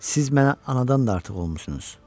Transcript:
Siz mənə anadan da artıq olmusunuz.